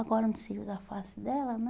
Agora no seio da face dela, né?